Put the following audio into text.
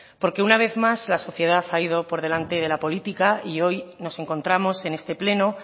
una vez más la sociedad ha ido por delante de la política y hoy nos encontramos en este pleno